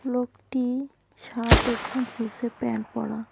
লোকটি শার্ট এবং জিন্সের প্যান্ট পরা।